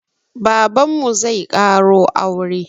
Babanmu zai ƙaro aure